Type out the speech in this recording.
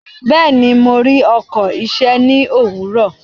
Bẹ́ẹ̀ni, mo rí ọkọ̀ iṣẹ́ ní òwúrọ̀.